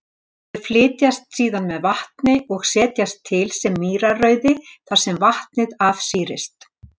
Þau flytjast síðan með vatni og setjast til sem mýrarauði þar sem vatnið afsýrist.